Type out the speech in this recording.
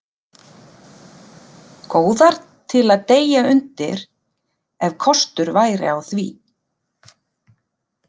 Góðar til að deyja undir, ef kostur væri á því.